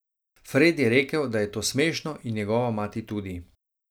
Fred je rekel, da je to smešno in njegova mati tudi.